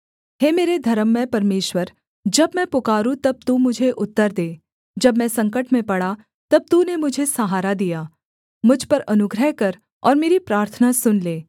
हे मेरे धर्ममय परमेश्वर जब मैं पुकारूँ तब तू मुझे उत्तर दे जब मैं संकट में पड़ा तब तूने मुझे सहारा दिया मुझ पर अनुग्रह कर और मेरी प्रार्थना सुन ले